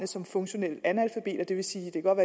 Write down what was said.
som funktionelle analfabeter det vil sige at det godt